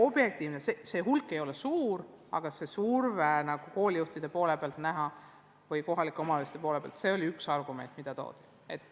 Põhjuste hulk ei ole suur, aga see surve, nagu koolijuhtide või kohaliku omavalitsuse poole pealt oli näha, oli üks argument, mida esitati.